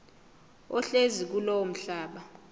ohlezi kulowo mhlaba